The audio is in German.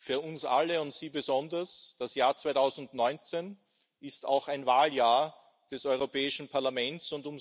Für uns alle und Sie besonders ist das Jahr 2019 auch ein Wahljahr des Europäischen Parlaments.